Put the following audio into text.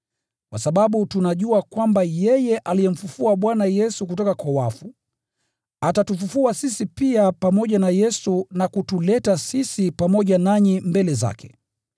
kwa sababu tunajua kwamba yeye aliyemfufua Bwana Yesu kutoka kwa wafu, atatufufua sisi pia pamoja na Yesu na kutuleta sisi pamoja nanyi mbele zake.